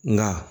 Nka